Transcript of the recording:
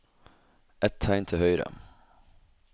Ett tegn til høyre